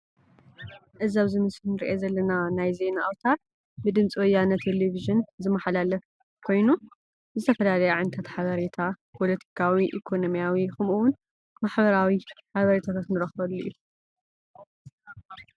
እዚ አብዚ ምስሊ ንሪኦ ዘለና ናይ ዜና አውታር ብድምፂ ወያነ ቴሊቪዥን ዝመሓላለፍ ኮይኑ ዝተፈላለዩ ዓይነት ሓበሪታ ፓለቲካዊ ኢኮኖሚያዊ ከምኡ እውን ማሕበራዊ ሓበሬታታት ንረክበሉ እዩ፡፡